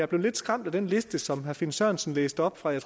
blev lidt skræmt af den liste som herre finn sørensen læste op fra jeg